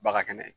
Baga kɛnɛ